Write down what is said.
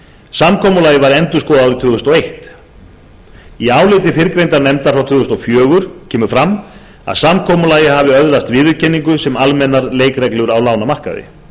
samkomulagið var endurskoðað árið tvö þúsund og eitt í áliti fyrrgreindrar nefndar frá tvö þúsund og fjögur kemur fram að samkomulagið hafi öðlast viðurkenningu sem almennar leikreglur á lánamarkaði